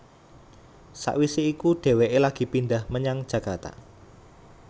Sawisé iku dhéwéké lagi pindhah menyang Jakarta